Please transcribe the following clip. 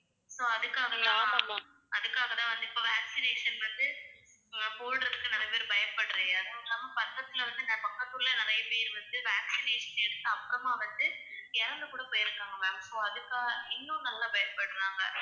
so அதுக்காகதான், அதுக்காகதான் வந்து இப்ப vaccination வந்து அஹ் போடுறதுக்கு நிறைய பேர் . அதுவும் இல்லாம பக்கத்துல வந்து அஹ் பக்கத்து ஊர்ல நிறைய பேர் வந்து vaccination எடுத்து அப்புறமா வந்து இறந்து கூடப் போயிருக்காங்க ma'am, so அதுக்காக இன்னும் நல்லா பயப்படுறாங்க